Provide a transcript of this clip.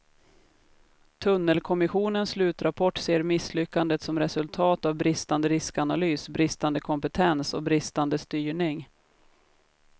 Tunnelkommissionens slutrapport ser misslyckandet som resultat av bristande riskanalys, bristande kompetens och bristande styrning.